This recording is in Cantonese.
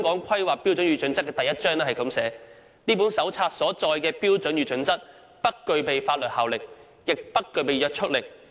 《規劃標準》第一章寫道："這本手冊所載的標準與準則不具備法定效力，也不具約束力。